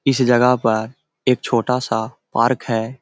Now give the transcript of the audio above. इस जगह पर एक छोटा सा पार्क है।